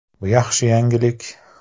Bu yaxshi yangilik.